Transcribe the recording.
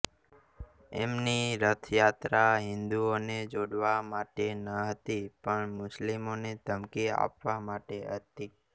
એમની રથ યાત્રા હિન્દુઓને જોડવા માટે ન હતી પણ મુસ્લિમોને ધમકી આપવા માટે હતી